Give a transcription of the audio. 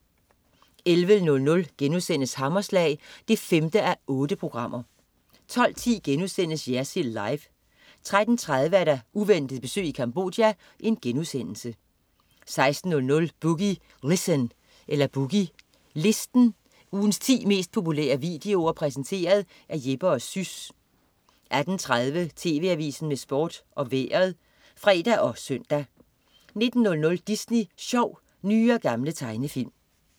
11.00 Hammerslag 5:8* 12.10 Jersild Live* 13.30 Uventet besøg i Cambodia* 16.00 Boogie Listen. Ugens ti mest populære videoer præsenteret af Jeppe & Sys 18.30 TV Avisen med Sport og Vejret (fre og søn) 19.00 Disney Sjov. Nye og gamle tegnefilm